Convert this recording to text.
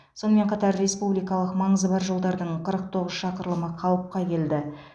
сонымен қатар республикалық маңызы бар жолдардың қырық тоғыз шақырылымы қалыпқа келді